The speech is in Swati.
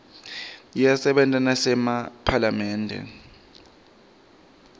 iyasebenta nasemaphalamende